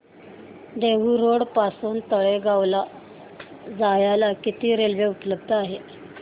Dehu road पासून तळेगाव ला जायला किती रेल्वे उपलब्ध आहेत